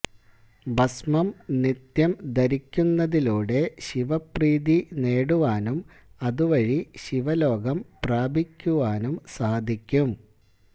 ഭസ്മം നിത്യം ധരിക്കുന്നതിലൂടെ ശിവപ്രീതി നേടുവാനും അതുവഴി ശിവലോകം പ്രാപിക്കുവാനും സാധിക്കും